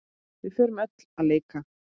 Við fórum öll að leika.